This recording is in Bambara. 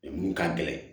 minnu ka gɛlɛn